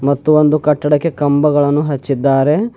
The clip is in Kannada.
ಮತ್ತು ಒಂದು ಕಟ್ಟಡಕ್ಕೆ ಕಂಬಗಳನ್ನು ಹಚ್ಚಿದ್ದಾರೆ.